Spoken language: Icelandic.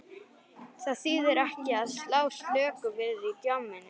Það þýðir ekki að slá slöku við í djamminu.